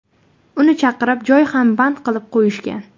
Uni chaqirib, joy ham band qilib qo‘yishgan.